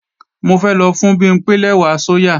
Mo fẹ́ lọ fún Bimpé lẹ́wà sóyà